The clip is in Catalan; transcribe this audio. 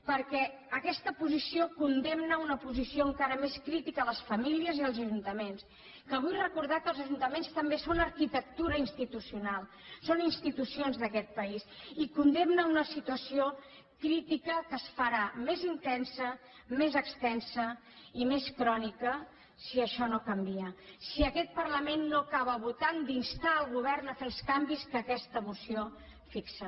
perquè aquesta posició condemna a una posició encara més crítica les famílies i els ajuntaments que vull recordar que els ajuntaments també són arquitectura institucional són institucions d’aquest país i condemna a una situació crítica que es farà més intensa més extensa i més crònica si això no canvia si aquest parlament no acaba votant d’instar el govern a fer els canvis que aquesta moció fixa